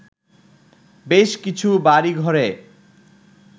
বেশ কিছু বাড়িঘরে